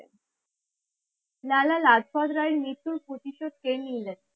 লালা লাজপত রায় মৃত্যুর প্রতিশোধ কে নিলেন?